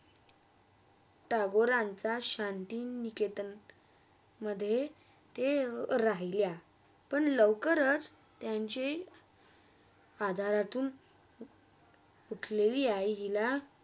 टगोरांचा शांती निकितनमधे राहिल्या पण लवकरच त्यांचे आधारतून कुठलेली आईला